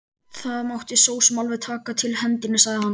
Það mátti sosum alveg taka til hendinni, sagði hann.